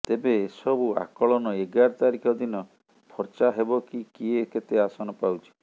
ତେବେ ଏସବୁ ଆକଳନ ଏଗାର ତାରିଖ ଦିନ ଫର୍ଚ୍ଚା ହେବ କି କିଏ କେତେ ଆସନ ପାଉଛି